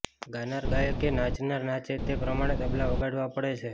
ગાનાર ગાય કે નાચનાર નાચે તે પ્રમાણે તબલા વગાડવા પડે છે